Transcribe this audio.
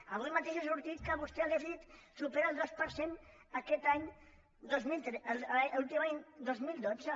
avui mateix ha sortit que vostè de dèficit supera el dos per cent aquest any l’últim any dos mil dotze